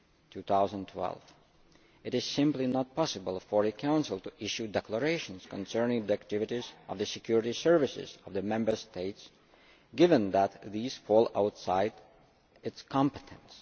2012. It is simply not possible for the Council to issue declarations concerning the activities of the security services of the Member States, given that these fall outside its competence.